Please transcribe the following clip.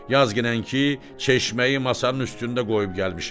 Yazginən ki, çeşməyi masanın üstündə qoyub gəlmişəm.